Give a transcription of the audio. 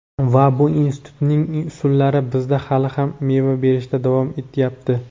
Va bu "institut"ning usullari bizda hali ham meva berishda davom etayapti.